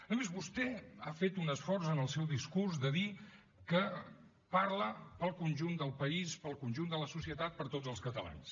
a més vostè ha fet un esforç en el seu discurs de dir que parla per al conjunt del país per al conjunt de la societat per a tots els catalans